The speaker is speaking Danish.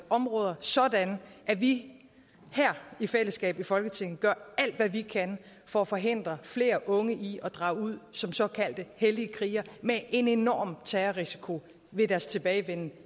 områder sådan at vi her i fællesskab i folketinget gør alt hvad vi kan for at forhindre flere unge i at drage ud som såkaldte hellige krigere med en enorm terrorrisiko ved deres tilbagevenden